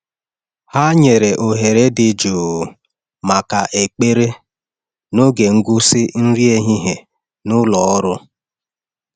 Ha nyere ohere dị jụụ maka ekpere n’oge nkwụsị nri ehihie n’ụlọ ọrụ.